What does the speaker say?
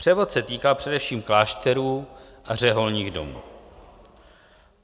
Převod se týkal především klášterů a řeholních domů.